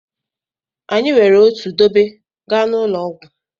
Anyị were otu dobe gaa n'ụlọ ọgwụ.